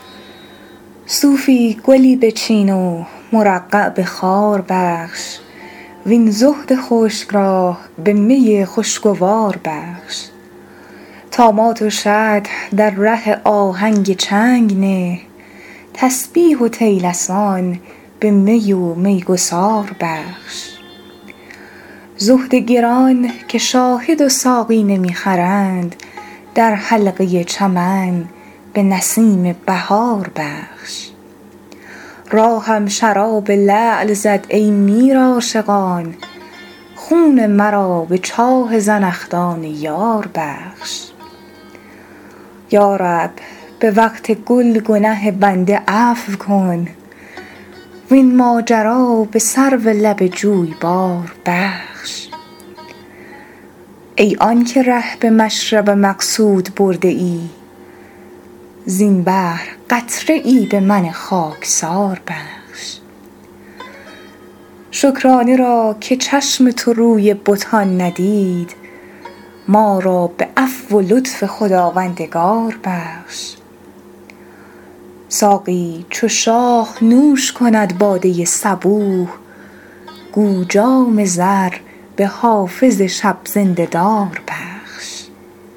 صوفی گلی بچین و مرقع به خار بخش وین زهد خشک را به می خوشگوار بخش طامات و شطح در ره آهنگ چنگ نه تسبیح و طیلسان به می و میگسار بخش زهد گران که شاهد و ساقی نمی خرند در حلقه چمن به نسیم بهار بخش راهم شراب لعل زد ای میر عاشقان خون مرا به چاه زنخدان یار بخش یا رب به وقت گل گنه بنده عفو کن وین ماجرا به سرو لب جویبار بخش ای آن که ره به مشرب مقصود برده ای زین بحر قطره ای به من خاکسار بخش شکرانه را که چشم تو روی بتان ندید ما را به عفو و لطف خداوندگار بخش ساقی چو شاه نوش کند باده صبوح گو جام زر به حافظ شب زنده دار بخش